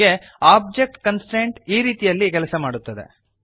ಹೀಗೆ object constraint ಈ ರೀತಿಯಲ್ಲಿ ಕೆಲಸ ಮಾಡುತ್ತದೆ